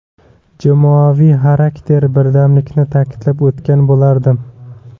Jamoaviy xarakter, birdamlikni ta’kidlab o‘tgan bo‘lardim.